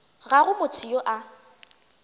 ga go motho yo a